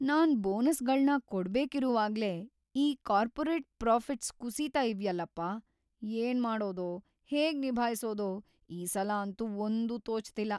ನಾನ್‌ ಬೋನಸ್ಗಳ್ನ ಕೊಡ್ಬೇಕಿರುವಾಗ್ಲೇ ಈ ಕಾರ್ಪೊರೇಟ್ ಪ್ರಾಫಿಟ್ಸ್‌ ಕುಸೀತಾ ಇವ್ಯಲ್ಲಪ್ಪ, ಏನ್ಮಾಡೋದೋ, ಹೇಗ್‌ ನಿಭಾಯ್ಸೋದೋ ಈಸಲ ಅಂತೂ ಒಂದೂ ತೋಚ್ತಿಲ್ಲ.